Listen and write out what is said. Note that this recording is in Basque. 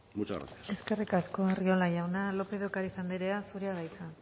muchas gracias eskerrik asko arriola jauna lópez de ocariz andrea zurea da hitza